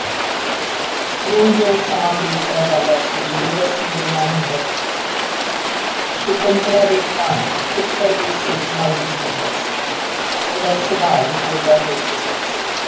ਜਿਉਂ ਜਿਉਂ ਸਮਾਂ ਬੀਤਦਾ ਜਾਂਦਾ ਸੀ, ਜੋਗਿੰਦਰ ਸਿੰਘ ਦੇ ਮਨ ਅੰਦਰ ਸ਼ੰਕੁਤਲਾ ਦੀ ਥਾਂ ਪੁੱਤਰ ਦੀ ਸਿੱਕ ਮੱਲਦੀ ਜਾਂਦੀ ਸੀ। ਉਹਦਾ ਸੁਭਾਅ ਹੀ ਹੋਰ ਦਾ ਹੋਰ ਹੋ ਗਿਆ ਸੀ।